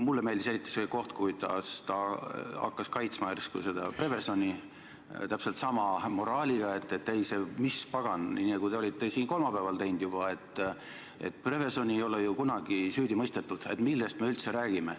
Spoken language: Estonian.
Mulle meeldis eriti see koht, kui ta hakkas kaitsma järsku seda Prevezoni – täpselt sama moraaliga, et mis pagan, nii nagu te olite siin kolmapäeval öelnud juba, et Prevezoni ei ole ju kunagi süüdi mõistetud, millest me üldse räägime.